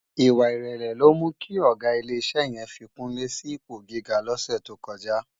Iwá irèlè ló mú ki ògá ilé isè yèn fi kunle si ipó gigá lòsè tókòjá